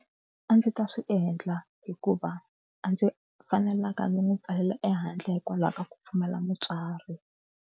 A ndzi ta swi endla hikuva a ndzi fanelanga ndzi n'wi pfaleleka ehandle hikwalaho ka ku pfumala mutswari.